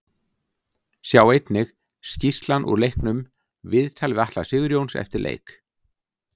Sjá einnig: Skýrslan úr leiknum Viðtal við Atla Sigurjóns eftir leik